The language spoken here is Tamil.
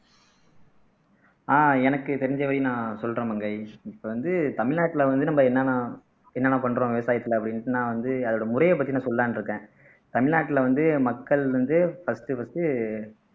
ஆஹ் எனக்கு தெரிஞ்சவை நான் சொல்றேன் மங்கை இப்ப வந்து தமிழ்நாட்டுல வந்து நம்ம என்னென்ன என்னென்ன பண்றோம் விவசாயத்துல அப்படின்னுட்டு நான் வந்து அதோட முறையைப் பத்தி நான் சொல்லலான்னு இருக்கேன் தமிழ்நாட்டுல வந்து மக்கள் வந்து first first